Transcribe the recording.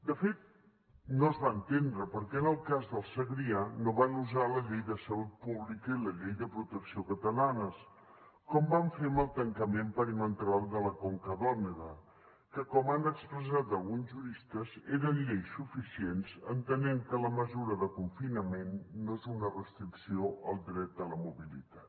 de fet no es va entendre per què en el cas del segrià no van usar la llei de salut pública i la llei de protecció catalanes com van fer amb el tancament perimetral de la conca d’òdena que com han expressat alguns juristes eren lleis suficients entenent que la mesura de confinament no és una restricció al dret de la mobilitat